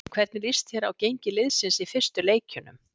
Hvernig lýst þér á gengi liðsins í fyrstu leikjunum?